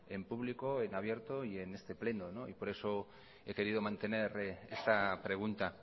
en público en abierto y en este pleno y por eso he querido mantener esta pregunta